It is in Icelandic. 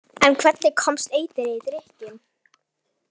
En hvernig komst eitrið í drykkinn?